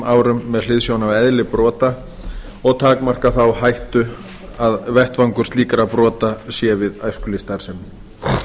árum með hliðsjón af eðli slíkra brota og takmarka þá hættu að vettvangur slíkra brota sé við æskulýðsstarfsemi